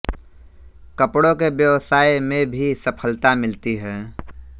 कपड़ों के व्यवसाय में भी सफलता मिलती है